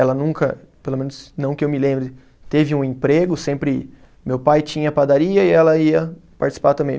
Ela nunca, pelo menos não que eu me lembre, teve um emprego, sempre meu pai tinha padaria e ela ia participar também.